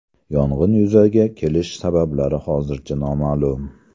Yong‘in yuzaga kelish sabablari hozircha noma’lum.